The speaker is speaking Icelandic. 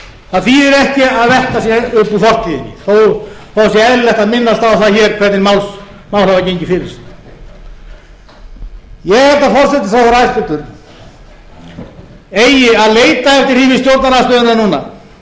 það þýðir ekki að velta sér upp úr fortíðinni þó það sé eðlilegt að minnast á það hér hvernig mál hafa gengið fyrir sig ég held að forsætisráðherra hæstvirtur eigi að leita eftir því við stjórnarandstöðuna núna